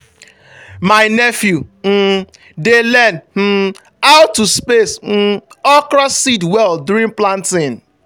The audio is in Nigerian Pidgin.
my nephew um dey learn um how to space um okra seed well during planting.